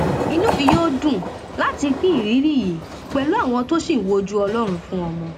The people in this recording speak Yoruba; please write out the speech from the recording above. inú mi yóò dùn láti pín ìrírí yìí pẹlú àwọn tó ṣì ń wojú ọlọrun fún ọmọ